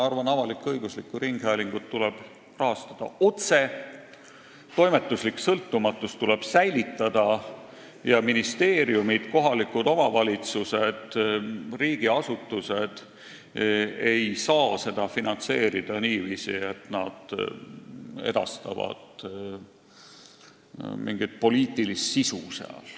Ma arvan, et avalik-õiguslikku ringhäälingut tuleb rahastada otse, toimetuslik sõltumatus tuleb säilitada ja ministeeriumid, kohalikud omavalitsused, riigiasutused ei saa seda finantseerida niiviisi, et nad edastavad seal mingit poliitilist sisu.